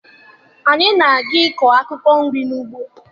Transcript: Anyị na-aga ịkọ akwụkwọ nri n'ugbo